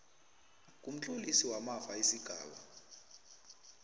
kumtlolisi wamafa isigaba